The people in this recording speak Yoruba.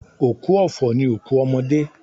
Òkú ọ̀fọ̀ ni òkú ọmọdé.